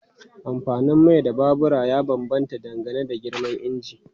Amfanin mai na babura ya bambanta dangane da girman injin.